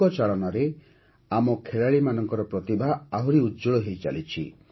ବନ୍ଧୁକ ଚାଳନାରେ ଆମ ଖେଳାଳିମାନଙ୍କର ପ୍ରତିଭା ଆହୁରି ଉଜ୍ଜ୍ୱଳ ହୋଇଚାଲିଛି